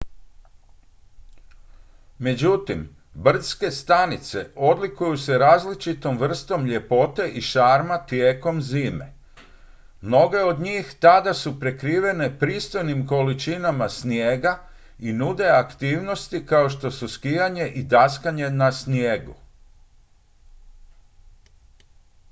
međutim brdske stanice odlikuju se različitom vrstom ljepote i šarma tijekom zime mnoge od njih tada su prekrivene pristojnim količinama snijega i nude aktivnosti kao što su skijanje i daskanje na snijegu